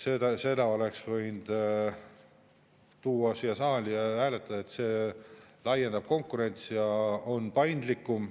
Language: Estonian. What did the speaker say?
Selle oleks võinud tuua siia saali ja hääletada, see laiendab konkurentsi ja on paindlikum